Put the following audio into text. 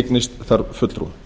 eignist þar fulltrúa